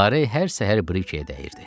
Lara hər səhər Brikeyə dəyirdi.